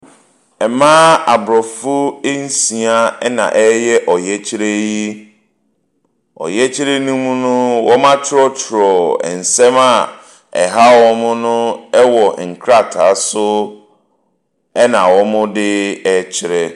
Mmaa aborɔfo nsia na wɔreyɛ ɔyɛkyerɛ yi. Ɔyɛkyerɛ no mu no, wcatwerɛtwerɛ nsɛm a ɛha wɔn no wɔ nkrataa so na wɔde rekyerɛ.